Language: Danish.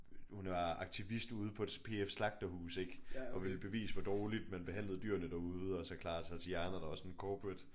Hun var aktivist ude på et PF-slagterhus ik og ville bevise hvor dårligt man behandlede dyrene derude og så Clara Satiana der var sådan corporate